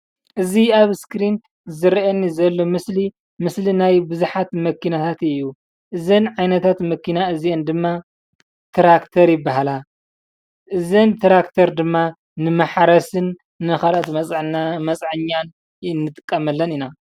እዚ ኣብ ስክሪን ዝረአየኒ ዘሎ ምስሊ ምስሊ ናይ ብዙሓት መኪናታት እዩ እዘን ዓይነታት መኪና እዚአን ድማ ትራክተር ይብሃላ እዘን ትራክተር ድማ ንማሕረስን ንካልኦት መፅዐኛ እንጥቀመለን ኢና።